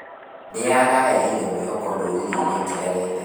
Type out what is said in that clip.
Nĩaraehire mwĩhoko ndũrĩrĩ-inĩ itiganĩte